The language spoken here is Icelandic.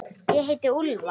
Ég heiti líka Úlfar.